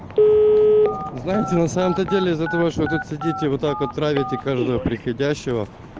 знаете на самом-то деле из-за того что вы тут сидите вот так вот травите каждого приходящего